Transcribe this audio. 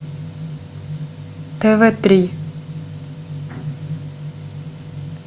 тв три